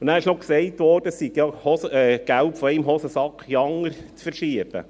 Es wurde auch gesagt, es bedeute, Geld von einer Hosentasche in die andere zu verschieben.